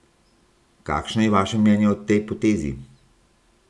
Kakšno je vaše mnenje o tej potezi?